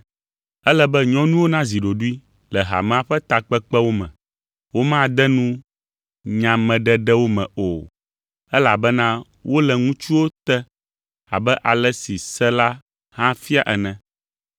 Ele be nyɔnuwo nazi ɖoɖoe le hamea ƒe takpekpewo me. Womade nu nyameɖeɖewo me o, elabena wole ŋutsuwo te abe ale si se la hã fia ene.